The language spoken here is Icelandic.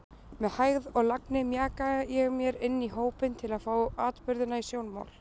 Með hægð og lagni mjaka ég mér inní hópinn til að fá atburðina í sjónmál.